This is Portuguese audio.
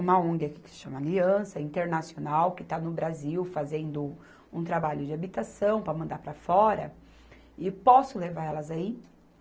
uma Ong aqui que se chama Aliança Internacional que está no Brasil fazendo um trabalho de habitação para mandar para fora e posso levar elas aí?